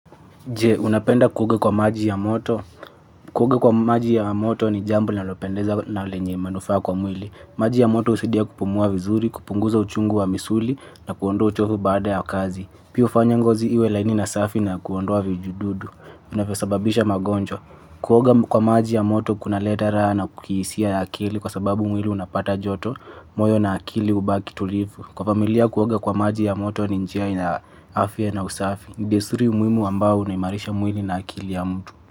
Je, unapenda kuoga kwa maji ya moto. Kuoga kwa maji ya moto ni jambo nalopendeza au lenye manufa kwa mwili. Maji ya moto usidia kupumua vizuri, kupunguza uchungu wa misuli na kuondua uchofu baada ya kazi. Piu fanyangozi iwe laini na safi na kuondoa vijududu. Unafesababisha magonjwa. Kuoga kwa maji ya moto kuna letara na kukisia ya akili kwa sababu mwili unapata joto, moyo na akili ubaki tulivu. Kwa familia kuwaga kwa maji ya moto ni njiai na afya na usafi. Ndesuri umwimu ambao unayimarisha mwini na akili ya mtu.